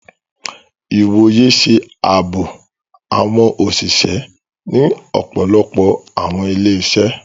Ìwòyè ṣe ààbò awọn oṣiṣẹ ni ọpọlọpọ awọn ilé-iṣẹ